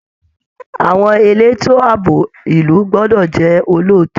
Àwọn elétò ààbò ìlú gbọ́dọ̀ jẹ́ olóòótọ́